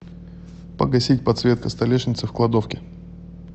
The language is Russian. погасить подсветка столешницы в кладовке